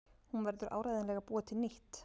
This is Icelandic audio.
Hún verður áreiðanlega að búa til nýtt.